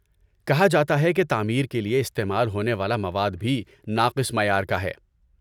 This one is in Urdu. کہا جاتا ہے کہ تعمیر کے لیے استعمال ہونے والا مواد بھی ناقص معیار کا ہے۔